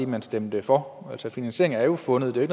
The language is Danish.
man stemte for altså finansieringen er jo fundet det er